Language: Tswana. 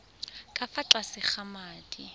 ka fa tlase ga madi